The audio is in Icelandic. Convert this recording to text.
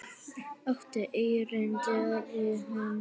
Áttu erindi við hann?